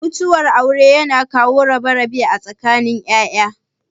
Mutuwar aure yana kawo rabe-rabe a tsakanin ya'ya.